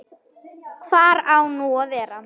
Hvar á nú að vera?